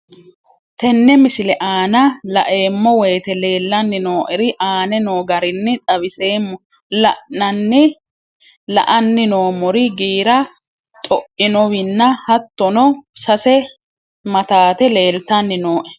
Tenne misile aana laeemmo woyte leelanni noo'ere aane noo garinni xawiseemmo. La'anni noomorri giira xo'inowinna hatonno sase mataate leelitanni nooe.